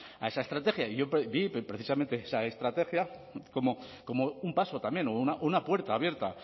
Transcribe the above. a esa estrategia y yo vi precisamente esa estrategia como un paso también o una puerta abierta